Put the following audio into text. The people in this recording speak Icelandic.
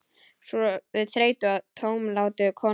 Sömu þreyttu og tómlátu konuna?